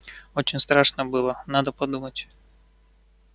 очень страшно было надо думать